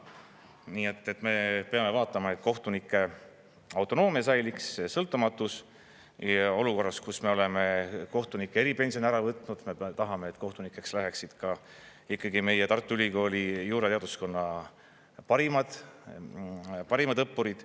Nii et me peame vaatama, et kohtunike autonoomia säiliks, sõltumatus, ja olukorras, kus me oleme kohtunike eripensioni ära võtnud, me tahame, et kohtunikeks läheksid ka ikkagi meie Tartu Ülikooli juurateaduskonna parimad õppurid.